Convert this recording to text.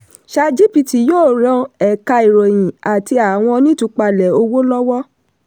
chatgpt yóò ràn ẹ̀ka ìròyìn àti àwọn onítúpalẹ̀ owó lọ́́wọ́.